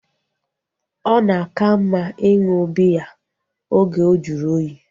Ọ na aka mma ịṅụ biya oge ojuru oyi